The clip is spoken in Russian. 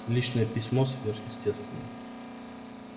личное письмо сверхестественное